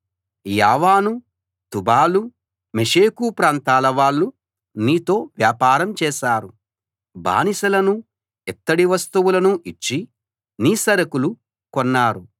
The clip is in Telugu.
యావాను తుబాలు మెషెకు ప్రాంతాలవాళ్ళు నీతో వ్యాపారం చేశారు బానిసలనూ ఇత్తడి వస్తువులనూ ఇచ్చి నీ సరకులు కొన్నారు